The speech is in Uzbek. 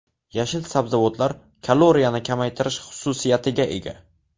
Yashil sabzavotlar kaloriyani kamaytirish xususiyatiga ega.